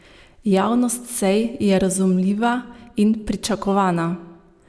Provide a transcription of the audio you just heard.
Javnost sej je razumljiva in pričakovana.